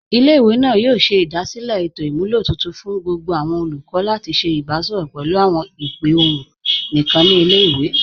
Ilẹ̀-ìwé náà yóò ṣẹ̀ idasílẹ̀ ètò imúlọ̀ tuntun fún gbogbo awọn olùkọ̀ lati ṣẹ̀ ìbàṣọrọ pẹ̀lú awọn ìpè ọ̀hun níkan ni ilẹ̀-ìwé.